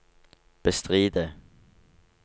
bestride